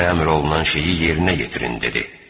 Sizə əmr olunan şeyi yerinə yetirin dedi.